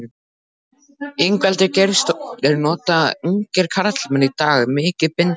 Ingveldur Geirsdóttir: Nota ungir karlmenn í dag mikið bindi?